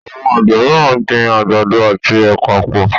Awọn Àgbè míràn gbìn àgbàdo àti ẹpa pọ.